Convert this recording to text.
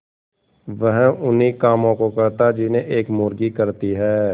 वह उन्ही कामों को करता जिन्हें एक मुर्गी करती है